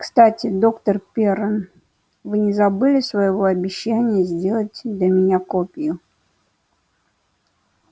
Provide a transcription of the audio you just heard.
кстати доктор пиренн вы не забыли своего обещания сделать для меня копию